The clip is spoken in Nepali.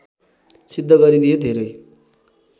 सिद्ध गरिदिए धेरै